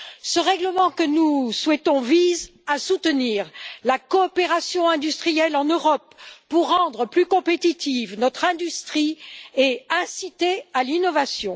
Ce règlement que nous souhaitons vise à soutenir la coopération industrielle en Europe pour rendre plus compétitive notre industrie et inciter à l'innovation.